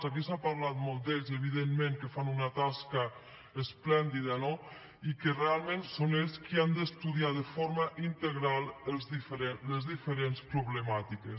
aquí s’ha parlat molt d’ells i evidentment que fan una tasca esplèndida no i que realment són ells qui han d’estudiar de forma integral les diferents problemàtiques